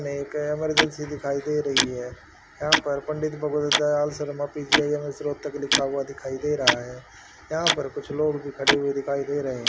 एक इमरजेंसी दिखाई दे रही है यहां पर पंडित भगवत दयाल शर्मा पी_जी_आई_एम_एस रोहतक लिखा हुआ दिखाई दे रहा है यहां पर कुछ लोग भी खड़े हुए दिखाई दे रहे--